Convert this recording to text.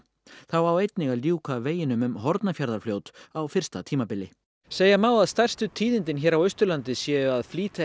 þá á einnig að ljúka veginum um Hornafjarðarfljót á fyrsta tímabili segja má að stærstu tíðindin hér á Austurlandi séu að flýta